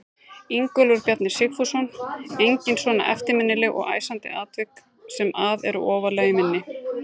Ingólfur Bjarni Sigfússon: Engin svona eftirminnileg og æsandi atvik sem að eru ofarlega í minni?